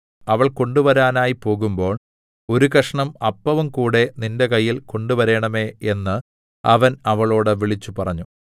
അവൾ കൊണ്ടുവരുവാനായി പോകുമ്പോൾ ഒരു കഷണം അപ്പവുംകൂടെ നിന്റെ കയ്യിൽ കൊണ്ടുവരേണമേ എന്ന് അവൻ അവളോട് വിളിച്ചുപറഞ്ഞു